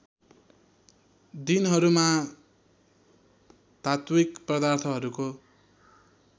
दिनहरूमा धात्विक पदार्थहरूको